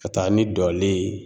Ka taa ni dɔlen ye